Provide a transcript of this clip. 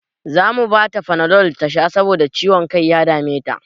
Zamu bata fanadol tasha saboda ciwon kan da ya dame ta